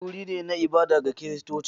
Coci wuri ne na ibada ga Kiristoci.